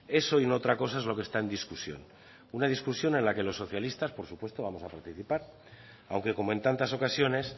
eso y no otra cosa es lo que está en discusión una discusión en la que los socialistas por supuesto vamos a participar aunque como en tantas ocasiones